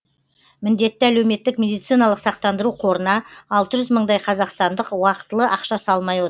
міндетті әлеуметтік медициналық сақтандару қорына алты жүз мыңдай қазақстандық уақытылы ақша салмай от